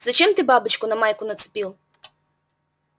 зачем ты бабочку на майку нацепил